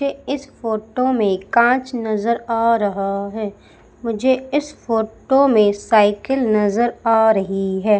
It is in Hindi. इस फोटो में कांच नजर आ रहा है मुझे इस फोटो में साइकिल नजर आ रही है।